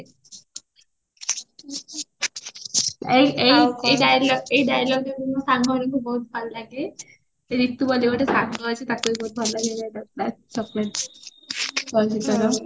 ଏଇ ଏଇ dialogue ଏଇ dialogue ବି ମୋ ସାଙ୍ଗ ମାନଙ୍କୁ ବହୁତ ଭଲ ଲାଗେ ରିତୁ ବୋଲି ଗୋଟେ ସାଙ୍ଗ ଅଛି ତାକୁ ବି ବହୁତ ଭଲ ଲାଗେ ଏଇ dialogueଟା ଚଳଚିତ୍ରର